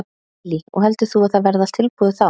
Lillý: Og heldur þú að það verði allt tilbúið þá?